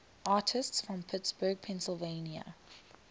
artists from pittsburgh pennsylvania